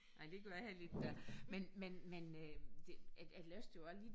Ej det gør jeg heller ikke da men men men øh det jeg jeg læste jo også lige